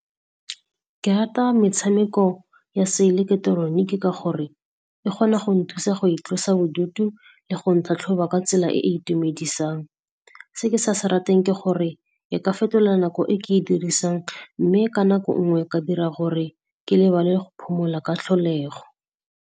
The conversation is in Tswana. Ke rata metshameko ya se ileketeroniki ka gore e kgona go nthusa go itlosa bodutu le go ntlhatlhoba ka tsela e e itumedisang. Se ke sa se rateng ke gore e ka fetola nako e ke e dirisang mme ka nako nngwe ka dira gore ke lebale go phomola ka tlholego.